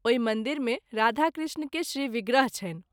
ओहि मंदिर मे राधा कृष्ण के श्री विग्रह छनि।